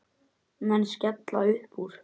Menn skella uppúr.